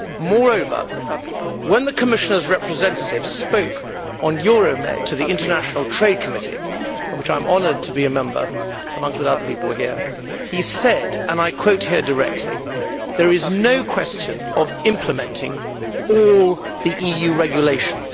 Moreover, when the Commissioner's representative spoke on Euromed to the Committee on International Trade, of which I am honoured to be a member amongst other people here, he said and I quote here directly there is no question of implementing all the EU regulations'.